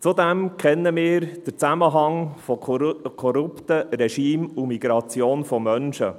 Zudem kennen wir den Zusammenhang von korrupten Regimes und der Migration von Menschen.